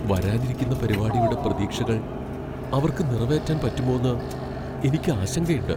വരാനിരിക്കുന്ന പരിപാടിയുടെ പ്രതീക്ഷകൾ അവർക്ക് നിറവേറ്റാൻ പറ്റുമോന്ന് എനിക്ക് ആശങ്കയുണ്ട്.